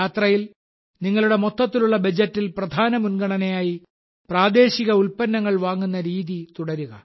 യാത്രയിൽ നിങ്ങളുടെ മൊത്തത്തിലുള്ള ബജറ്റിൽ പ്രധാന മുൻഗണനയായി പ്രാദേശിക ഉൽപ്പന്നങ്ങൾ വാങ്ങുന്ന രീതി തുടരുക